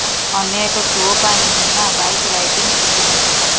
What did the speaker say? ଅନ୍ୟ ଏକ ସୋ ପାଇଁ ହୀନା ବାଇକ୍ ରାଇଡିଂ ଶିଖୁଛନ୍ତି